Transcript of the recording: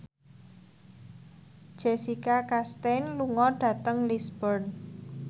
Jessica Chastain lunga dhateng Lisburn